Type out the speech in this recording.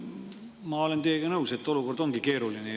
Ma olen teiega nõus, et olukord on keeruline.